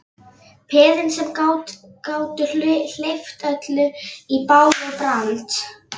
Peðin sem gátu hleypt öllu í bál og brand.